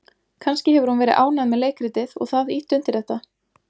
Kannski hefur hún verið ánægð með leikritið og það ýtt undir þetta?